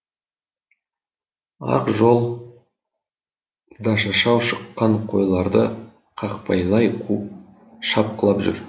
ақжол дашашау шыққан қойларды қақпайлай қуып шапқылап жүр